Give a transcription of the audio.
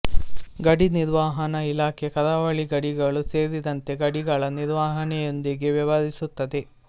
ಗಡಿ ನಿರ್ವಹಣಾ ಇಲಾಖೆ ಕರಾವಳಿ ಗಡಿಗಳು ಸೇರಿದಂತೆ ಗಡಿಗಳ ನಿರ್ವಹಣೆಯೊಂದಿಗೆ ವ್ಯವಹರಿಸುತ್ತದೆ